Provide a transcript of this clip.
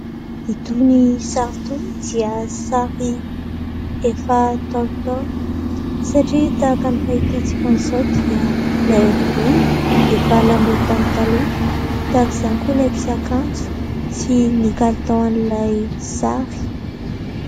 Itony sary itony dia sary efa ntaolontaolo satria tahaka ny fahitantsika an'izao dia ilay volo efa lamaody tamin'ny taloha, tahaka izany koa la fiakanjo sy kalitaon'ilay sary.